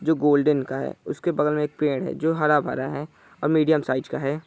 जो गोल्डन का है उसके बगल मे एक पेड़ है जो हरा-भरा है और मीडियम साइज का है ।